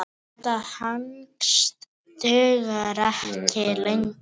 Þetta hangs dugir ekki lengur.